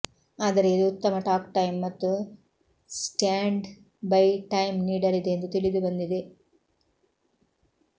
ಆದರೆ ಇದು ಉತ್ತಮ ಟಾಕ್ ಟೈಂ ಮತ್ತು ಸ್ಟ್ಯಾಂಡ್ ಬೈ ಟೈಂ ನೀಡಲಿದೆ ಎಂದು ತಿಳಿದುಬಂದಿದೆ